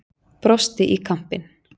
Brosti í kampinn.